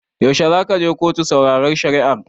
Yaushe zaka je kotu sauraron shari'ar?